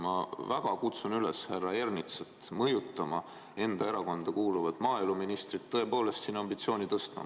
Ma väga kutsun üles härra Ernitsat mõjutama enda erakonda kuuluvat maaeluministrit tõepoolest siin ambitsiooni tõstma.